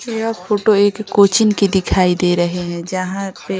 यह फोटो एक कोचिंग की दिखाई दे रही है जहां पे --